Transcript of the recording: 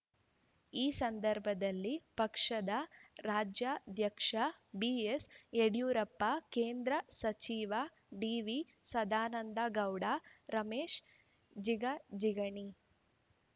ಈ ಸಂದರ್ಭದಲ್ಲಿ ಪಕ್ಷದ ರಾಜ್ಯಾಧ್ಯಕ್ಷ ಬಿಎಸ್ ಯಡಿಯೂರಪ್ಪ ಕೇಂದ್ರ ಸಚಿವ ಡಿವಿ ಸದಾನಂದ ಗೌಡ ರಮೇಶ್ ಜಿಗಜಿಗಣಿ